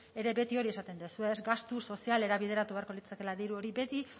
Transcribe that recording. ere beti hori esaten duzue ez gastu sozialera bideratu beharko litzatekeela diru hori beti